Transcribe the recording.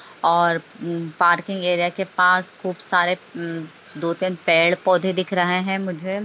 और म्म parking area पास खूब सारे म्म दो तीन पेड़ पोधे दिख रहे हैं मुझे।